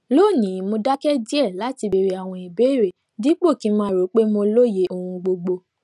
lónìí mo dáké díè láti béèrè àwọn ìbéèrè dípò kí n máa rò pé mo lóye ohun gbogbo